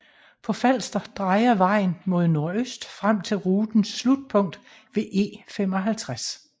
På Falster drejer vejen mod nordøst frem til rutens slutpunkt ved E55